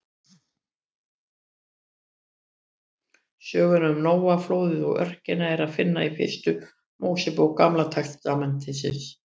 Söguna um Nóa, flóðið og örkina er að finna í fyrstu Mósebók Gamla testamentisins.